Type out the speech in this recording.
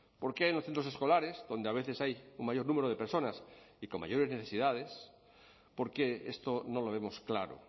por qué en los centros escolares donde a veces hay un mayor número de personas y con mayores necesidades por qué esto no lo vemos claro